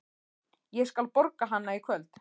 Ég skal borga hana í kvöld.